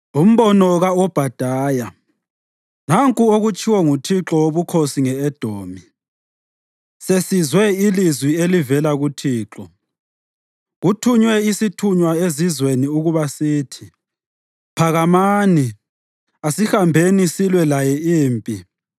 Umbono Ka-Obhadaya. Nanku okutshiwo nguThixo Wobukhosi nge-Edomi: Sesizwe ilizwi elivela kuThixo: Kuthunywe isithunywa ezizweni ukuba sithi, “Phakamani, asihambeni silwe laye impi”: